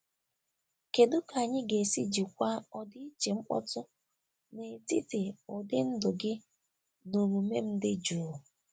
Kedu ka anyị ga-esi jikwaa ọdịiche mkpọtụ n'etiti ụdị ndụ gị na omume m dị jụụ?